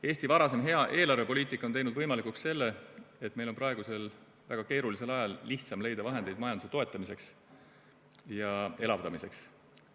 Eesti varasem hea eelarvepoliitika on teinud võimalikuks selle, et meil on praegusel väga keerulisel ajal lihtsam leida vahendeid majanduse toetamiseks ja elavdamiseks.